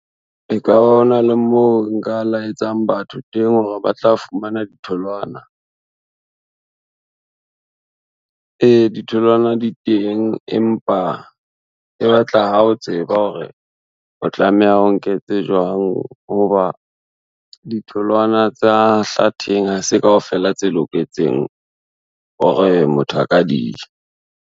E ka ba ho na le moo nka la etsang batho teng hore ba tla fumana ditholwana? E, ditholwana di teng empa e ba tla ha o tseba hore o tlameha o nke tse jwang ho ba ditholwana tsa hlatheng ha se kaofela tse loketseng hore motho a ka dija.